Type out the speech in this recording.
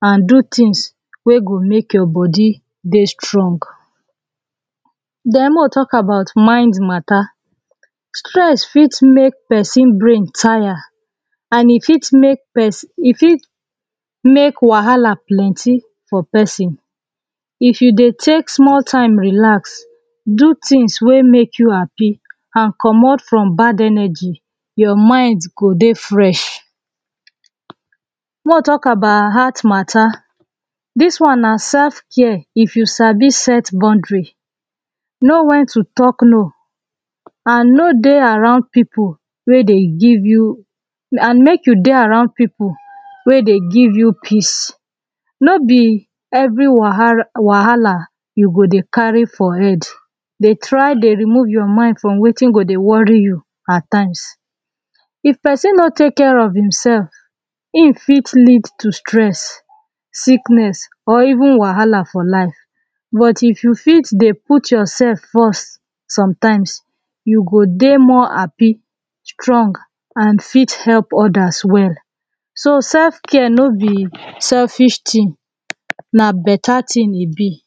an do things wey go make your body dey strong the make we talk about mind mata stress fit make person brain tire. an e fit make person e fit make wahala plenty for person. if e dey take small time relax, do things wey make you happy an comot from bad energy your mind go dey fresh. make we talk about heart attack. this one na self care if you sabi set boundry know wen to talk low an no dey around people wey dey give you an make you dey around people wey dey give you peace. no be every wahala we go dey carry for head. dey try remove your mind from wetin go dey worry you at times. if person no take care of himself, him fit lead to stress, sickness or even wahala for life but if you fit dey put yourself first sometimes you go dey more happy strong an fit help others well so self care no be selfish thing, na beta thing e be